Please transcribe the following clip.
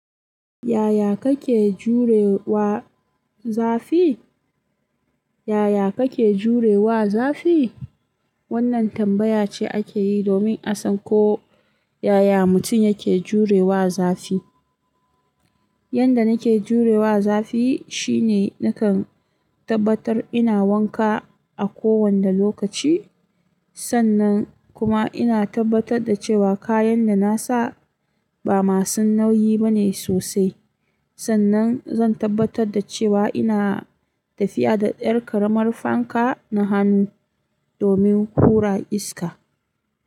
Yaya kake jure wa zafi? Yaya kake jure wa zafi? Wannan tambaya ce ake yi domin a san ko yaya mutum yake jure wa zafi. Yanda nake jure wa zafi shine nakan tabbatar ina wanka a kowane lokaci. Sannan kuma ina tabbatar da cewa kayan da nasa ba masu nauyi bane sosai. Sannan zan tabbatar da cewa ina tafiya da 'yar ƙaramar fanka na hannu domin hura iska.